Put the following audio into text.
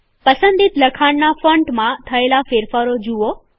પસંદિત લખાણનાં ફોન્ટમાં થયેલા ફેરફારો જુઓ